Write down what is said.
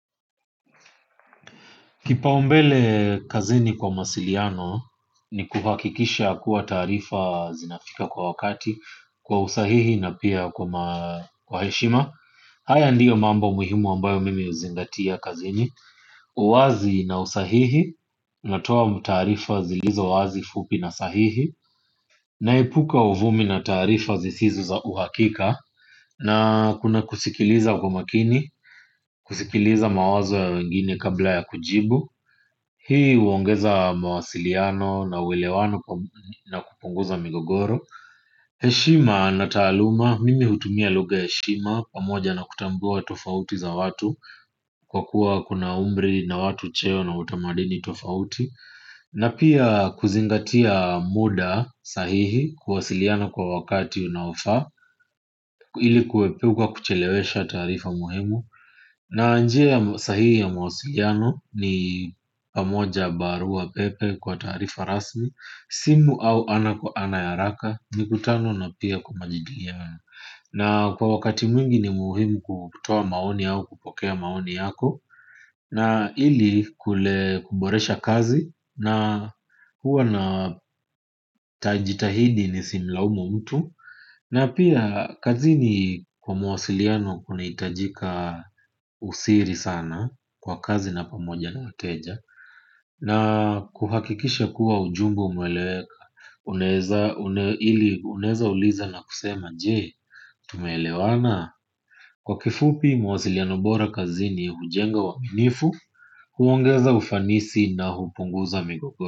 Kipaumbele kazini kwa mawasiliano ni kuhakikisha kuwa taarifa zinafika kwa wakati, kwa usahihi na pia kwa heshima. Haya ndiyo mambo muhimu ambayo mimi huzingatia kazini. Uwazi na usahihi, natoa taarifa zilizo wazi, fupi na sahihi. Naepuka uvumi na taarifa zisizo za uhakika. Na kuna kusikiliza kwa makini, kusikiliza mawazo ya wengine kabla ya kujibu. Hii uongeza mawasiliano na uelewano na kupunguza migogoro. Heshima na taaluma, mimi hutumia lugha ya heshima pamoja na kutambua tofauti za watu kwa kuwa kuna umri na watu cheo na utamaduni tofauti. Na pia kuzingatia muda sahihi, kuwasiliana kwa wakati unaofaa. Ili kuepuka kuchelewesha taarifa muhimu. Na njia sahii ya mawasiliano ni pamoja barua pepe kwa taarifa rasmi, simu au ana kwa ana ya haraka, mikutano na pia kujadiliana. Na kwa wakati mwingi ni muhimu kutoa maoni au kupokea maoni yako. Na ili kule, kuboresha kazi na huwa na jitahidi nisimlaumu mtu. Na pia kazini kwa mawasiliano kunahitajika usiri sana, kwa kazi na pamoja na wateja. Na kuhakikisha kuwa ujumbe umeeleweka. Unaweza uliza na kusema, je, tumeleewana? Kwa kifupi mawasiliano bora kazini hujenga uaminifu. Huongeza ufanisi na hupunguza migogoro.